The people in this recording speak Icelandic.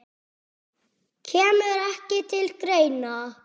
Kemur ekki til greina